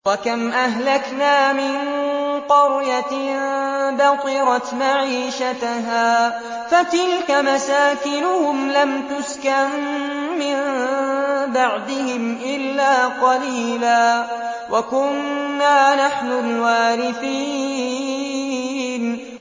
وَكَمْ أَهْلَكْنَا مِن قَرْيَةٍ بَطِرَتْ مَعِيشَتَهَا ۖ فَتِلْكَ مَسَاكِنُهُمْ لَمْ تُسْكَن مِّن بَعْدِهِمْ إِلَّا قَلِيلًا ۖ وَكُنَّا نَحْنُ الْوَارِثِينَ